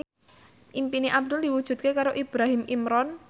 impine Abdul diwujudke karo Ibrahim Imran